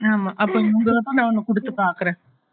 ஆமா அப்ப ஒன்னு குடுத்து பாக்குறேன்